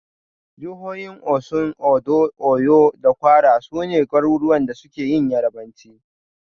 Jahohin Osun, Ondo, Oyo da Kwara, su ne garuruwan da suke Yarabanci.